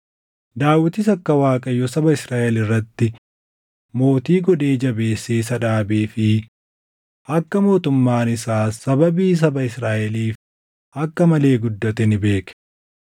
Daawitis akka Waaqayyo saba Israaʼel irratti mootii godhee jabeessee isa dhaabee fi akka mootummaan isaas sababii saba Israaʼeliif akka malee guddate ni beeke.